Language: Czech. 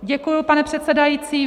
Děkuji, pane předsedající.